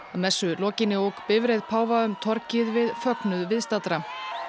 að messu lokinni ók bifreið páfa um torgið við fögnuð viðstaddra